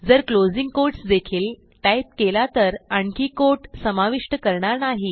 जर closing quotes देखील type केला तर आणखी कोट समाविष्ट करणार नाही